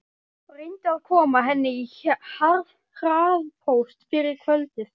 Reyndu að koma henni í hraðpóst fyrir kvöldið.